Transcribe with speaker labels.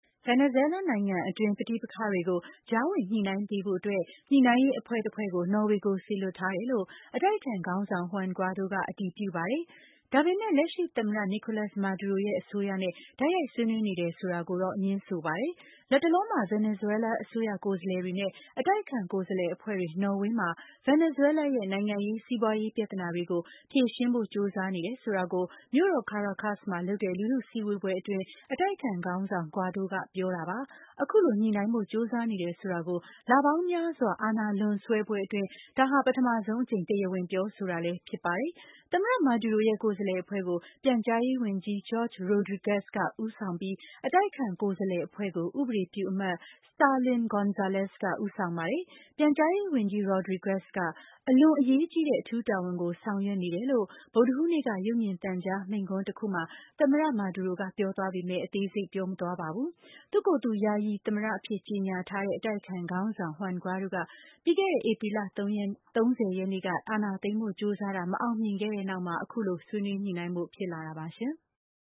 Speaker 1: ဗင်နီဇွဲလား နိုင်ငံတွင်း ပဋိပက္ခတွေကို ကြားဝင်ညှိနှိုင်းပေးဖို့အတွက် ညှိနှိုင်းရေးအဖွဲ့တဖွဲ့ကို နော်ဝေကို စေလွှတ်ထားတယ်လို့ အတိုက်အခံ ခေါင်းဆောင် Juan Guaido က အတည်ပြုပါတယ်။ ဒါပေမဲ့ လက်ရှိသမ္မတ Nicolas Maduro ရဲ့ အစိုးရနဲ့ တိုက်ရိုက်ဆွေးနွေး နေတယ် ဆိုတာကိုတော့ ငြင်းဆိုပါတယ်။ လတ်တလောမှာ ဗင်နီဇွဲလားအစိုးရကိုယ်စားလှယ်တွေနဲ့ အတိုက်အခံကိုယ်စားလှယ်အဖွဲ့တွေ နော်ဝေးမှာ ဗင်နီဇွဲလားရဲ့ နိုင်ငံရေး ၊ စီးပွါးရေး ပြဿနာတွေကို ဖြေရှင်းဖို့ကြိုးစားနေတယ်ဆိုတာကို မြို့တော် Caracas မှာ လုပ်တဲ့ လူထုစည်းဝေးပွဲအတွင်း အတိုက်အခံ ခေါင်းဆောင် Guaido ကပြောတာပါ။ အခုလို ညှိနှိုင်းဖို့ ကြိုးစားနေတယ်ဆိုတာကို လပေါင်းများစွာကြာ အာဏာလွန်ဆွဲပွဲအတွင်း ဒါဟာ ပထမဆုံးအကြိမ် တရားဝင်ပြောဆိုတာလည်း ဖြစ်ပါတယ်။ သမ္မတ Maduro ရဲ့ကိုယ်စားလှယ်အဖွဲ့ကို ပြန်ကြားရေးဝန်ကြီး Jorge Rodriguez က ဦးဆောင်ပြီး အတိုက်အခံကိုယ်စားလှယ်အဖွဲ့ကို ဥပဒေပြုအမတ် Stalin Gonzalez က ဦးဆောင်ပါတယ်။ ပြန်ကြားရေးဝန်ကြီး Rodriguez က အလွန် အရေးကြီးတဲ့ အထူးတာဝန်ကို ဆောင်ရွက်နေတယ်လို့ ဗုဒ္ဓဟူးနေ့က ရုပ်မြင်သံကြား မိန့်ခွန်းတခုမှာ သမ္မတက ပြောကြားသွားပေမဲ့ အသေးစိတ်ပြောမသွားပါဘူး။ သူ့ကိုယ်သူ ယာယီသမ္မတအဖြစ် ကြေညာထားတဲ့ အတိုက်အခံခေါင်းဆောင် Juan Guaido က ပြီးခဲ့တဲ့ ဧပြီ ၃၀ ရက်နေ့က အာဏာသိမ်းဖို့ ကြိုးစားတာ မအောင်မြင်ခဲ့တဲ့နောက် အခုလို ဆွေးနွေး
Speaker 2: ညှိနှိုင်းဖို့ ဖြစ်လာတာပါရှင်။